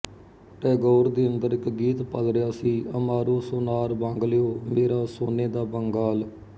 ਟੈਗੋਰ ਦੇ ਅੰਦਰ ਇੱਕ ਗੀਤ ਪਲ ਰਿਹਾ ਸੀ ਅਮਾਰੋ ਸੋਨਾਰ ਬਾਂਗਲੋਓ ਮੇਰਾ ਸੋਨੇ ਦਾ ਬੰਗਾਲ